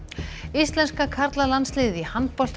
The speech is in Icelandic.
íslenska karlalandsliðið í handbolta